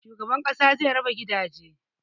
Shugaban ƙasa zai raba gidaje